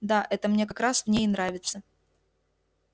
да это мне как раз в ней и нравится